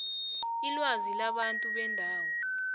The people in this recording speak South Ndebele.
ilwazi labantu bendawo